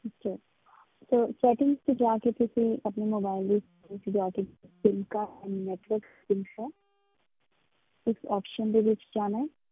ਜੀ ਤੇ setting ਵਿੱਚ ਜਾ ਕੇ ਤੁਸੀਂ ਆਪਣੀ mobile ਦੀ setting ਵਿੱਚ ਜਾ ਕੇ sim network ਹੈ ਇਸ option ਵਿੱਚ ਜਾਣਾ ਹੈ।